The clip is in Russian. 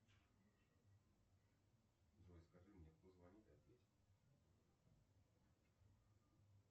джой скажи мне кто звонит и ответь